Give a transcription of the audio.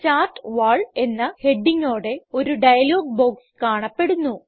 chart wall എന്ന ഹെഡിംങ്ങോടെ ഒരു ഡയലോഗ് ബോക്സ് കാണപ്പെടുന്നു